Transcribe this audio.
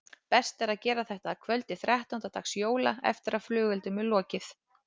Best er að gera þetta að kvöldi þrettánda dags jóla eftir að flugeldum er lokið.